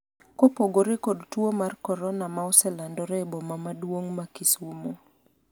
kopogore kod tuo mar korona ma oselandore e boma maduong' ma Kisumo